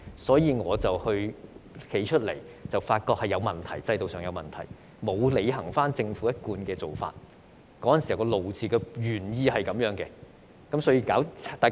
所以，當時我站出來表示制度上出現問題，政府沒有履行一貫的做法，當時的"怒"就是因為這樣。